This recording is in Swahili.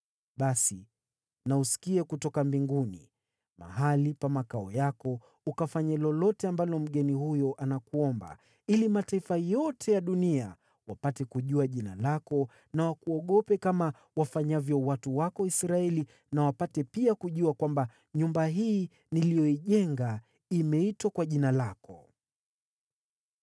basi na usikie kutoka mbinguni, mahali pa makao yako, ukafanye lolote ambalo mgeni huyo anakuomba, ili mataifa yote ya dunia wapate kujua jina lako na wakuogope kama wafanyavyo watu wako Israeli nao wapate pia kujua kwamba nyumba hii niliyoijenga imeitwa kwa Jina lako.